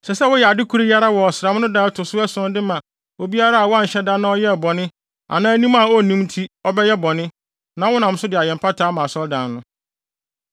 Ɛsɛ sɛ woyɛ ade koro yi ara wɔ ɔsram no da a ɛto so ason de ma obiara a wanhyɛ da na ɔyɛɛ bɔne anaa nim a onnim nti ɔbɛyɛ bɔne, na wonam so de ayɛ mpata ama asɔredan no.